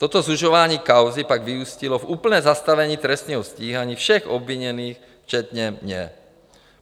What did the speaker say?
Toto zužování kauzy pak vyústilo v úplné zastavení trestního stíhání všech obviněných včetně mě.